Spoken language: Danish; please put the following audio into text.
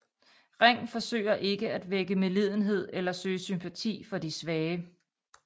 Ring forsøger ikke at vække medlidenhed eller søge sympati for de svage